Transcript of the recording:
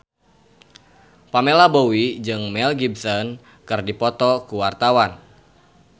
Pamela Bowie jeung Mel Gibson keur dipoto ku wartawan